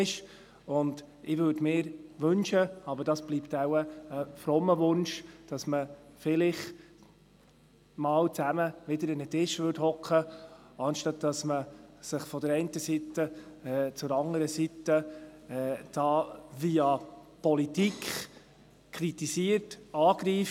Ich wünsche mir – aber das bleibt wohl ein frommer Wunsch –, dass man sich vielleicht wieder einmal zusammen an einen Tisch setzt, anstatt dass die eine Seite die andere Seite via Politik kritisiert, angreift.